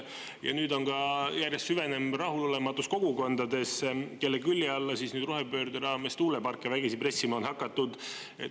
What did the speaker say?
Ja nüüd on ka järjest süvenev rahulolematus kogukondades, kelle külje alla siis nüüd rohepöörde raames tuuleparke vägisi pressima on hakatud.